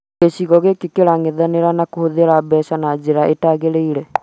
Gĩcigo gĩkĩ kĩrang'ethanĩra na kũhũthĩra mbeca na njĩra ĩtagĩrĩire